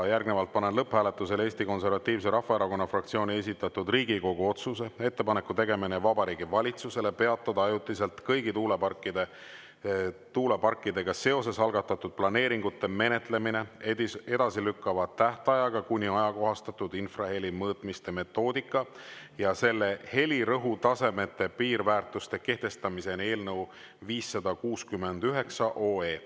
Panen lõpphääletusele Eesti Konservatiivse Rahvaerakonna fraktsiooni esitatud Riigikogu otsuse "Ettepaneku tegemine Vabariigi Valitsusele peatada ajutiselt kõigi tuuleparkidega seoses algatatud planeeringute menetlemine, edasilükkava tähtajaga kuni ajakohastatud infraheli mõõtmiste metoodika ja selle helirõhutasemete piirväärtuste kehtestamiseni" eelnõu 569.